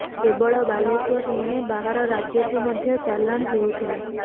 କେବଳ ବାଲେଶ୍ୱର ନୁହେଁ ବାହାର ରାଜ୍ୟକୁ ମଧ୍ୟ ଚାଲାଣ ହେଉଥିଲା